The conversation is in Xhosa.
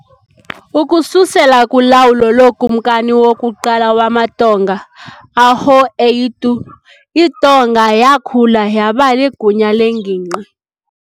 Ukususela kulawulo lokumkani wokuqala wamaTonga, ʻAhoʻeitu, iTonga yakhula yaba ligunya lengingqi.